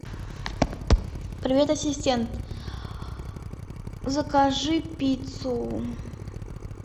привет ассистент закажи пиццу